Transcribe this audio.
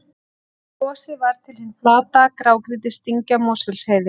við gosið varð til hin flata grágrýtisdyngja mosfellsheiði